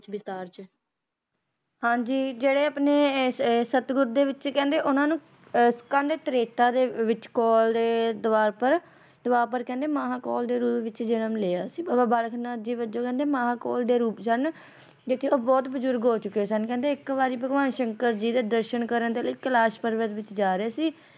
ਦਰਾਪਰ ਕਹਿੰਦੇ ਮਹਾਕੋਲ ਦੇ ਰੂਪ ਵਿੱਚ ਜਨਮ ਲਿਆ ਸੀ ਬਾਬਾ ਬਾਲਕ ਨਾਥ ਜੀ ਵਜੋਂ ਮਹਾਕੋਲ ਦੇ ਰੂਪ ਸਨ ਜਿੱਥੇ ਉਹ ਬਹੁਤ ਬਜਰੁਗ ਹੋ ਚੁੱਕੇ ਸਨ ਇਕ ਵਾਰੀ ਭਗਵਾਨ ਸ਼ੰਕਰ ਜੀ ਦੇ ਦਰਸ਼ਨ ਕਰਨ ਲਈ ਕੈਲਾਸ਼ ਪਰਬਤ ਵਿੱਚ ਜਾ ਰਹੇ ਸੀ